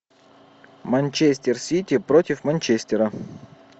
манчестер сити против манчестера